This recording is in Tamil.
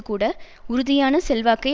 கூட உறுதியான செல்வாக்கை